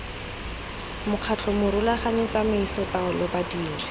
mokgatlho morulaganyi tsamaiso taolo badiri